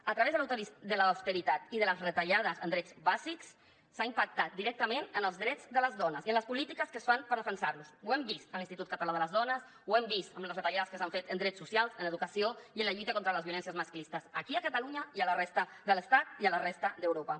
a través de l’austeritat i de les retallades en drets bàsics s’ha impactat directament en els drets de les dones i en les polítiques que es fan per defensar los ho hem vist en l’institut català de les dones ho hem vist amb les retallades que s’han fet en drets socials en educació i en la lluita contra les violències masclistes aquí a catalunya i a la resta de l’estat i a la resta d’europa